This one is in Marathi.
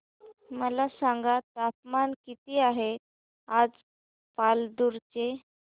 मला सांगा तापमान किती आहे आज पालांदूर चे